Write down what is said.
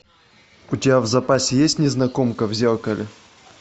у тебя в запасе есть незнакомка в зеркале